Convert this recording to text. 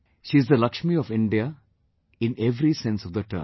She is the Lakshmi of India in every sense of the term